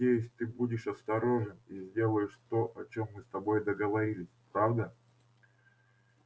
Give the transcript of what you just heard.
надеюсь ты будешь осторожен и сделаешь то о чем мы с тобой договорились правда